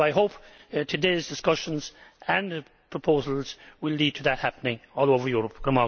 I hope today's discussions and proposals will lead to that happening all over Europe.